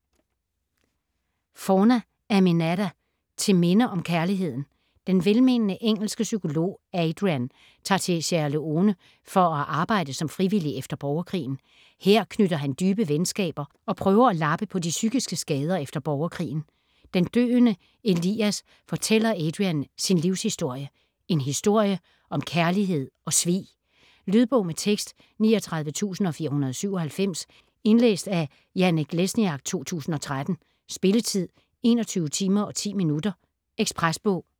Forna, Aminatta: Til minde om kærligheden Den velmenende engelske psykolog Adrian tager til Sierra Leone for at arbejde som frivillig efter borgerkrigen. Her knytter han dybe venskaber, og prøver at lappe på de psykiske skader efter borgerkrigen. Den døende Elias fortæller Adrian sin livshistorie. En historie om kærlighed og svig. Lydbog med tekst 39497 Indlæst af Janek Lesniak, 2013. Spilletid: 21 timer, 10 minutter. Ekspresbog